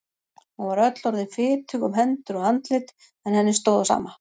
Hún var öll orðin fitug um hendur og andlit en henni stóð á sama.